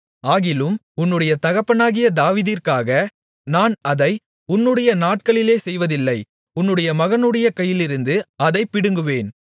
ஆகிலும் உன்னுடைய தகப்பனாகிய தாவீதிற்காக நான் அதை உன்னுடைய நாட்களிலே செய்வதில்லை உன்னுடைய மகனுடைய கையிலிருந்து அதைப் பிடுங்குவேன்